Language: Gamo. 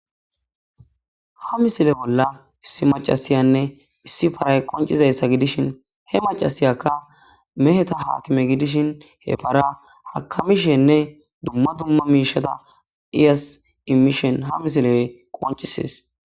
ha misile bolla issi macasiyanne issi paray qoncizayssa gidishin he macasiyakka meheta haakime gidishin he para hakamishenne dumma dumma miishata ias imishen ha misile qoncisis